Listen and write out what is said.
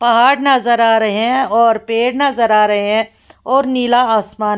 पहाड़ नज़र आ रहे हैं और पेड़ नज़र आ रहे हैं और नीला आसमान --